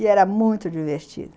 E era muito divertido.